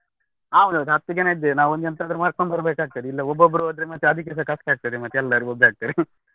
ಹಾ ಒಂದು ಹತ್ತು ಜನ ಇದ್ದೇವೆ. ನಾವು ಒಂದು ಎಂತಾದ್ರೂ ಮಾಡ್ಕೊಂಡು ಬರ್ಬೇಕ್ ಆಗ್ತದೆ. ಇಲ್ಲ ಒಬ್ಬೊಬ್ರು ಹೋದ್ರೆ ಮತ್ತೆ ಅದಿಕ್ಕೆಸ ಕಷ್ಟ ಆಗ್ತದೆ ಮತ್ತೆ ಎಲ್ಲರೂ ಬೊಬ್ಬೆ ಹಾಕ್ತಾರೆ .